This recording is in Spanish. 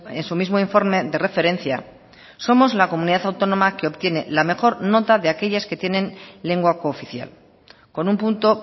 en su mismo informe de referencia somos la comunidad autónoma que obtiene la mejor nota de aquellas que tienen lengua cooficial con un punto